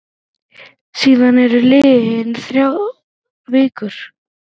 Síðan eru liðnar þrjár vikur.